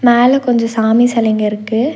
மேல கொஞ்ச சாமி செலைங்க இருக்கு.